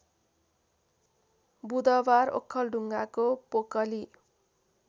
बुधवार ओखलढुङाको पोकली